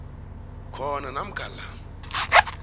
khona namkha la